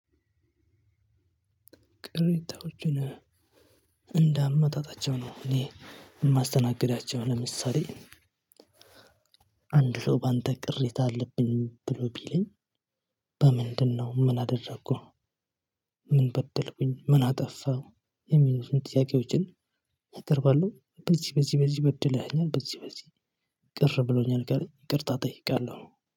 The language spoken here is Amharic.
ቅሬታዎችን እንደ አመጣጣቸው ነው እኔ የማስተናግዳቸው። ለምሳሌ አንድ ሰው በአንተ ቅሬታ አለብኝ ብሎ ቢለኝ በምንድነው ምን አደረኩህ? ምን በደልኩኝ ምን አጠፋሁ? የሚሉትን ጥያቄዎችን አቀርባለሁ። በዚህ በዚህ በዚህ በድለሀኝ በዚህ በዚህ ቅር ብሎኛል ካለኝ ይቅርታ እጠይቃለሁ።